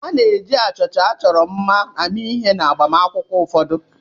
A na-eji achịcha achọrọ mma eme ihe n'agbamakwụkwọ ụfọdụ.